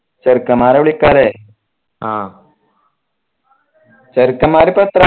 ചേർക്കന്മാരെ വില്കാലെ ചേർക്കൻമാരിപ്പെത്ര